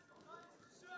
Hamısı yaxşı oyunçudur.